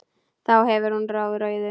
Þá fer hún á rauðu.